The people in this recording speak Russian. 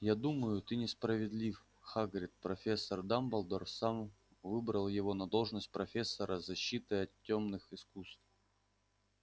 я думаю ты несправедлив хагрид профессор дамблдор сам выбрал его на должность профессора защиты от тёмных искусств